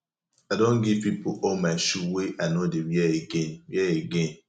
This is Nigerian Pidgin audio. i don give pipo all my shoe wey i no dey wear again wear again